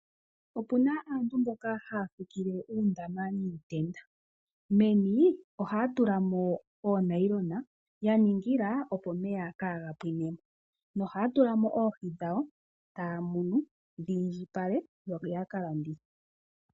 Opuna aantu mboka haya fikile uundama niitenda. Meni ohaya tulamo oonayilona. Ya ningila opo omeya kaaga pwine mo. Ohaya tula mo oohi dhawo. Etaya munu dhi indjipale yo ya kalandithe.